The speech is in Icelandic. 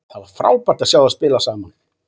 Það var frábært að sjá þá spila saman.